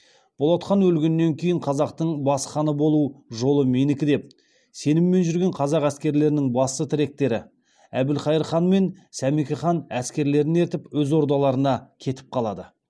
болат хан өлгеннен кейін қазақтың бас ханы болу жолы менікі деп сеніммен жүрген қазақ әскерлерінің басты тіректері әбілқайыр хан мен сәмеке хан әскерлерін ертіп өз ордаларына кетіп қалады